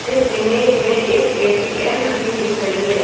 इस इमेज में एक ए टी एम मशीन दिख रही है।